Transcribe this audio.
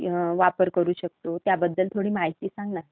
वापर करू शकतो, त्याबद्दल थोडी माहिती सांग ना.